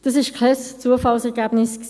Das war kein Zufallsergebnis.